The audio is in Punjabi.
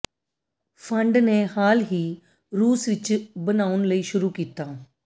ਫੰਡ ਨੇ ਹਾਲ ਹੀ ਰੂਸ ਵਿਚ ਬਣਾਉਣ ਲਈ ਸ਼ੁਰੂ ਕੀਤਾ